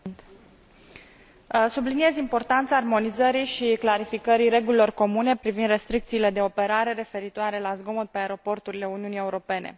Domnule Președinte, subliniez importanța armonizării și clarificării regulilor comune privind restricțiile de operare referitoare la zgomot pe aeroporturile Uniunii Europene.